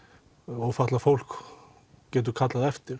ófatlað fólk getur kallað eftir